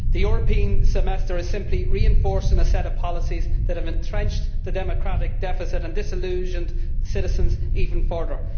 The European Semester is simply reinforcing a set of policies that have entrenched the democratic deficit and disillusioned citizens even further.